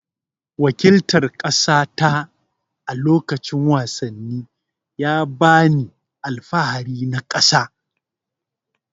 Waƙiltar kasata a lokacin wasanni ya ba ni alfahari na ƙasa.